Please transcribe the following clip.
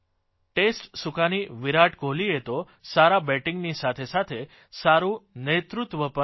test સુકાની વિરાટ કોહલીએ તો સારા બેટીંગની સાથેસાથે સારૂં નેતૃત્વ પણ કર્યું